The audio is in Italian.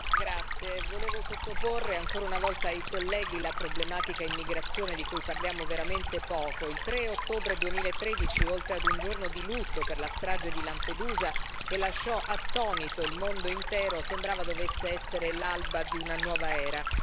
Signor Presidente, onorevoli colleghi, vi volevo sottoporre ancora una volta la problematica dell'immigrazione di cui parliamo veramente poco. Il 3 ottobre 2013 oltre ad un giorno di lutto per la strage di Lampedusa che lasciò attonito il mondo intero sembrava dovesse essere l'alba di una nuova era.